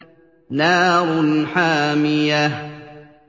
نَارٌ حَامِيَةٌ